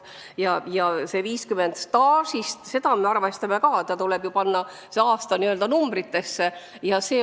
Samas see, et me staaži ka arvestame, on väga hea.